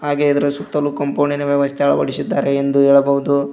ಹಾಗೆ ಇದರ ಸುತ್ತಲು ಕಾಂಪೌಂಡಿನ ವ್ಯವಸ್ಥೆ ಅಳವಡಿಸಿದ್ದಾರೆ ಎಂದು ಹೇಳಬಹುದು.